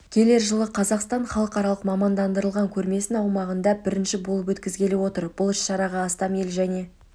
келер жылы қазақстан халықаралық мамандандырылған көрмесін аумағында бірінші болып өткізгелі отыр бұл іс-шараға астам ел және